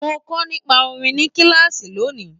Mo kọ nípa orin ní kilaasi lóni?